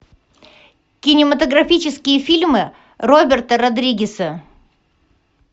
кинематографические фильмы роберта родригеса